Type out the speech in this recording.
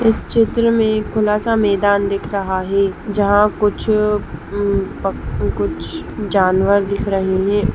इस चित्र में खुला सा मैदान दिख रहा हैं जहाँ कुछ अ कुछ जानवर दिख रहे हैं।